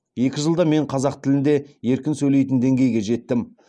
екі жылда мен қазақ тілінде еркін сөйлейтін деңгейге жеттім